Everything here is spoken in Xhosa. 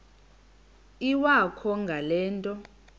iwakho ngale nto